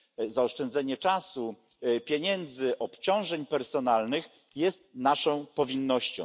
zaoszczędzenie czasu, pieniędzy, obciążeń personalnych jest więc naszą powinnością.